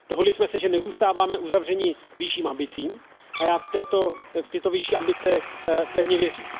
Dohodli jsme se, že nezůstáváme uzavřeni vyšším ambicím, a já v tyto vyšší ambice pevně věřím.